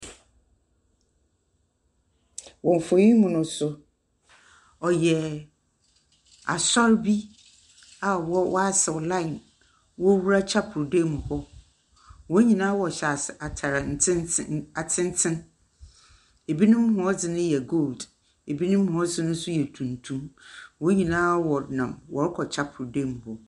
Wɔ mfoyin mu nso, ɔyɛ asɔr bi a wɔasɛw line wɔwura kyapel dam hɔ. Wɔn nyinaa wɔhyɛ atare atenten. Ebinom wɔn dze no yɛ gold. Ebinom wɔn dze nso yɛ tuntum. Wɔn nyinaa wɔnam wɔrekɔ kyapel dam.